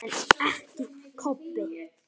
En ekki Kobbi.